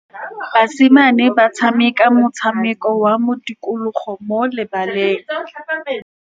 Basimane ba tshameka motshameko wa modikologô mo lebaleng.